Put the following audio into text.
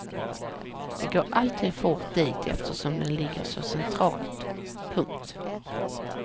Det går alltid fort dit eftersom den ligger så centralt. punkt